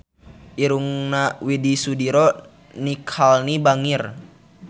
Irungna Widy Soediro Nichlany bangir